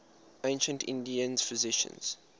ancient indian physicians